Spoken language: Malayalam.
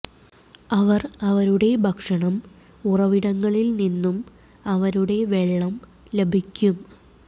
അവർ അവരുടെ ഭക്ഷണം ഉറവിടങ്ങളിൽ നിന്നും അവരുടെ വെള്ളം ലഭിക്കും